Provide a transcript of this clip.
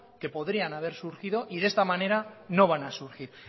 que podrían haber surgido y de esta manera no van a surgir